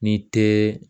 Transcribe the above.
Ni tɛ